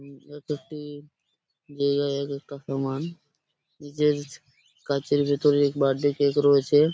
উম এক একটি জায়গায় এক একটা সামান । নিচে কাচের ভিতরে বার্থডে কেক রয়েছে ।